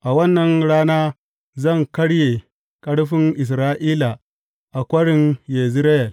A wannan rana zan karye ƙarfin Isra’ila a Kwarin Yezireyel.